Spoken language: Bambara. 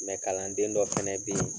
kalanden dɔ fana bɛ yen